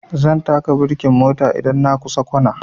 Zan taka birkin mota idan na kusa kwana